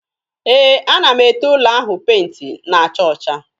Ee, ana m ete ụlọ ahụ penti na-acha ọcha.